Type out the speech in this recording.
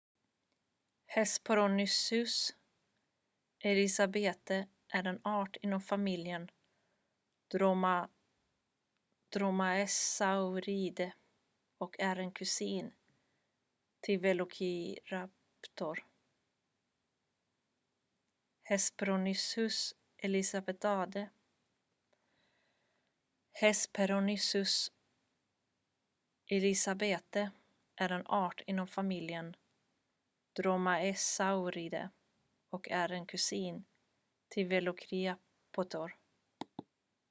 hesperonychus elizabethae är en art inom familjen dromaeosauridae och är en kusin till velociraptor